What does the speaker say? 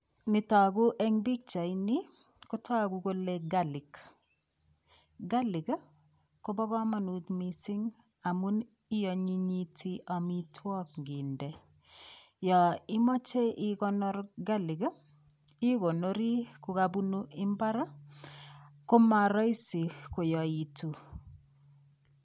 Netoku eng pikchaini kotoku kole garlic, garlic ii kobo kamanut mising amun ianyinyiti amitwog nginde, yo imoche ikonor garlic ii, ikonori ko kabunu imbar ii, koma rahisi koyaitu.